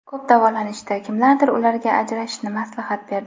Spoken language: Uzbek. Ko‘p davolanishdi, kimlardir ularga ajrashishni maslahat berdi.